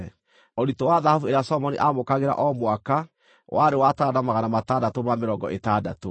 Ũritũ wa thahabu ĩrĩa Solomoni aamũkagĩra o mwaka warĩ wa taranda magana matandatũ ma mĩrongo ĩtandatũ,